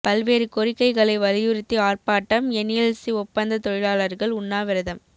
பல்வேறு கோரிக்கைகளை வலியுறுத்தி ஆர்ப்பாட்டம் என்எல்சி ஒப்பந்த தொழிலாளர்கள் உண்ணாவிரதம்